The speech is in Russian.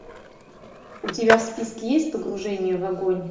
у тебя в списке есть погружение в огонь